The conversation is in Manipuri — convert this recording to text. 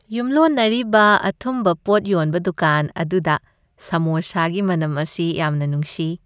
ꯌꯨꯝꯂꯣꯟꯅꯔꯤꯕ ꯑꯊꯨꯝꯕ ꯄꯣꯠ ꯌꯣꯟꯕ ꯗꯨꯀꯥꯟ ꯑꯗꯨꯗ ꯁꯃꯣꯁꯥꯒꯤ ꯃꯅꯝ ꯑꯁꯤ ꯌꯥꯝꯅ ꯅꯨꯡꯁꯤ꯫